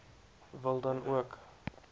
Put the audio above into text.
wil dan ook